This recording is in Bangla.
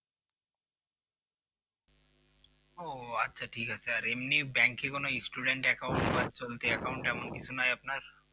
ও আচ্ছা ঠিক আছে, এমনি bank এ কোন student account বা চলতি account কিছু নাই আপনার